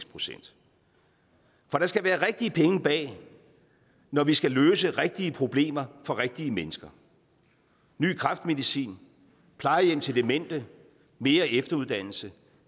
procent for der skal være rigtige penge bag når vi skal løse rigtige problemer for rigtige mennesker ny kræftmedicin plejehjem til demente mere efteruddannelse